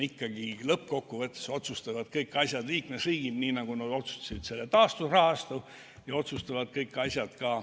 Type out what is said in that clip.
Lõppkokkuvõttes otsustavad kõik asjad ikkagi liikmesriigid, nii nagu nad otsustasid selle taasterahastu.